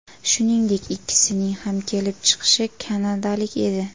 Shuningdek, ikkisining ham kelib chiqishi kanadalik edi.